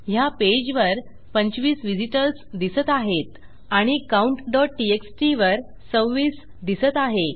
ह्या पेजवर 25 व्हिझिटर्स दिसत आहेत आणि countटीएक्सटी वर26दिसत आहे